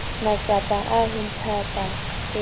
matsapa a ho ntshampa eo